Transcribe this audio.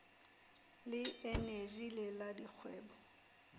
le eneji le la dikgwebo